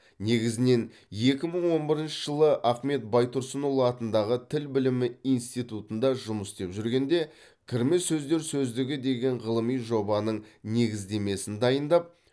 негізінен екі мың он бірінші жылы ахмет байтұрсынұлы атындағы тіл білімі институтында жұмыс істеп жүргенде кірме сөздер сөздігі деген ғылыми жобаның негіздемесін дайындап